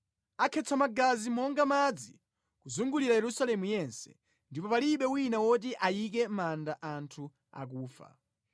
Akhetsa magazi monga madzi kuzungulira Yerusalemu yense, ndipo palibe wina woti ayike mʼmanda anthu akufa.